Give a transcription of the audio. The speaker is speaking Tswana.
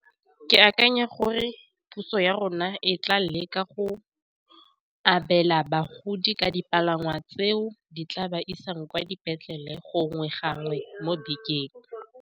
Ke akanya gore puso ya rona e tla le ka go abela bagodi ka dipalangwa tseo di tla ba isang kwa dipetlele gongwe gangwe mo bekeng.